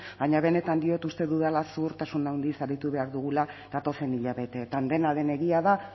baina benetan diot uste dudala zuhurtasun handiz aritu behar dugula datozen hilabeteetan dena den egia da